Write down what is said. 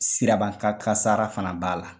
Siraban ka kasara fana b'a la